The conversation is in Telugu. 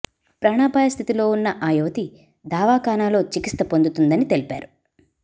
ప్రాణపాయ స్థితిలో ఉన్న ఆ యువతి దవాఖనాలో చికిత్స పొందుతుందని తెలిపారు